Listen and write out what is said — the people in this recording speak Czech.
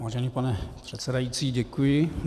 Vážený pane předsedající, děkuji.